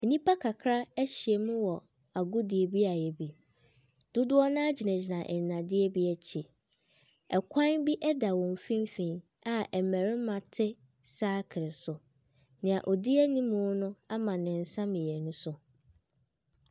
Nnipa kakra ahyia mu wɔ agodie beaeɛ bi. Dodoɔ no ara gyina nnadeɛ bi akyi. Kwan bi da wɔn mfimfini a mmarima te sakere so. Deɛ ɔdi anim no ama ne ns mmienu so.